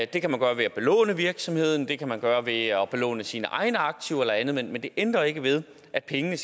det kan man gøre ved at belåne virksomheden og det kan man gøre ved at belåne sine egne aktiver eller andet men det ændrer ikke ved at pengene